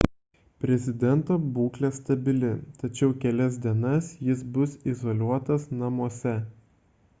prezidento būklė stabili tačiau kelias dienas jis bus izoliuotas namuose